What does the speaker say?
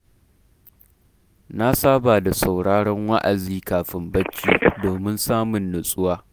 Na saba da sauraron wa’azi kafin barci, domin samun natsuwa.